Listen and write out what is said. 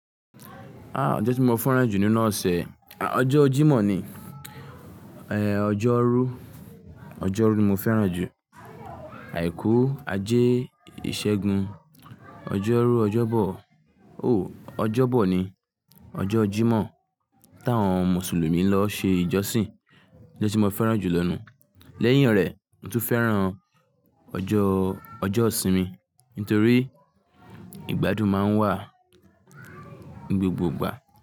Ah! Ọjọ́ tí mo fẹ́ràn jù nínú ọ̀sẹ̀, ọjọ́ Jímọ̀ ni, eh, ọjọ́rú, ọjọ́rú ni mo fẹ́ràn jù. Àìkú, ajé, ìṣẹ́gun, ọjọ́rú, ọjọ́bọ̀, o, ọjọ́bọ̀ ni, ọjọ́ Jímọ̀ táwọn Mùsùlùmí ń lọ ṣe ìjọsìn lọ tí mo fẹ́ràn jù lọ́nà. Lẹ́yìn rẹ̀, mo tún fẹ́ràn ọjọ́, ọjọ́ ìsinmi nítorí ìgbádùn máa ń wà ní gbogbo ìgbà.